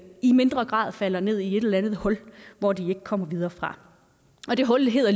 i mindre grad falder ned i et eller andet hul hvor de ikke kommer videre fra og det hul hedder